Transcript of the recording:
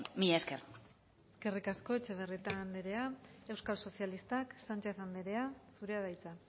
mila esker eskerrik asko etxebarrieta andrea eukal sozialistak sánchez anderea zurea da hitza